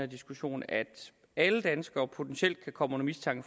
diskussion at alle danskere potentielt kan komme under mistanke